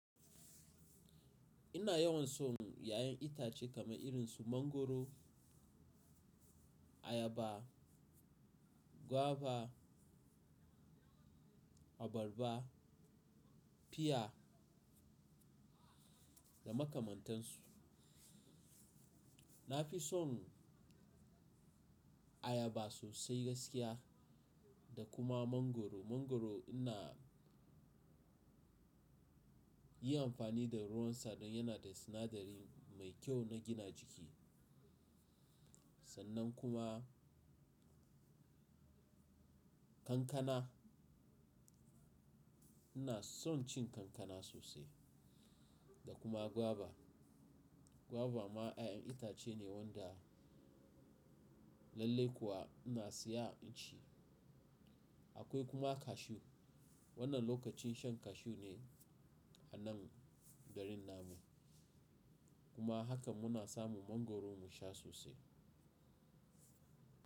Ina yawan son 'ya'yan itace kamar irin su mangwaro, ayaba, gwaiba, abarba, piya da makamantansu. Na fi son ayaba sosai gaskiya da kuma mangwaro. Mangwaro ina yn amfani da ruwansa don yana da sinadari mai kyau na gina jiki. Sannan kuma kankana ina son cin kankana sosai da kuma gwaibaa. Gwaiba ma 'ya'yan itace ne wanda lallai kuwa ina siya in ci. Akwai kuma cashew. Wannan lokacin shan cashew ne anan garin nan mu. Mangwaro ina yin amfani da ruwansa don yana da sinadari mai kyau na gina jiki.